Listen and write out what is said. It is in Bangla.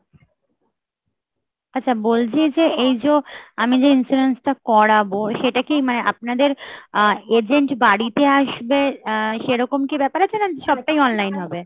আচ্ছা বলছি যে এই যো আমি যে insurance টা করাবো সেটা কি মানে আপনাদের আহ agent বাড়িতে আসবে আহ সেরকম কি ব্যাপার আছে না সবটাই online হবে?